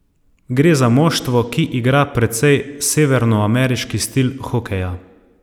Gre za moštvo, ki igra precej severnoameriški stil hokeja.